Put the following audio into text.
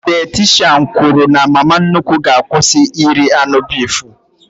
Dayatishan kwụrụ na mama nnukwu ga-akwụsị iri anụ bifu